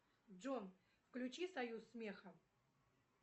джой включи союз смеха